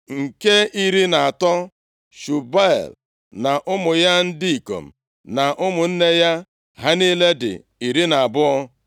Nke iri na atọ, Shubuel na ụmụ ya ndị ikom na ụmụnne ya. Ha niile dị iri na abụọ (12).